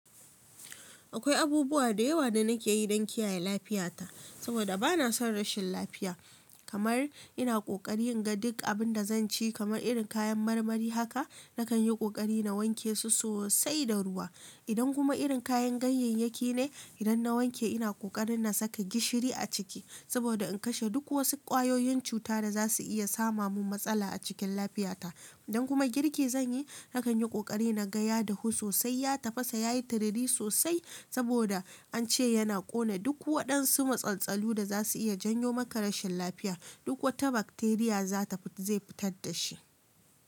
Akwai abubuwa da yawa da nake yi don kiyaye lafiyata saboda bana son rashin lafiya. Kamar ina kokari inga duk abinda zan ci kamar irin kayan marmari haka nakan yi kokari na wanke su sosai da ruwa, idan kuma irin kayan gayyeyaki ne idan na wanke ina kokarin na saka gishiri a ciki saboda in kashe duk wasu ƙwayoyin cuta da za su iya sama mun matsala a cikin lafiyata idan kuma girki zan yi nakan yi ƙoƙari na ga ya dahu sosai ya tafasa yayi tiriri sosai saboda an ce yana ƙone duk waɗansu matsaltsalu da za su iya janyo maka rashin lafiya duk wata bakteriya zai fitar da shi.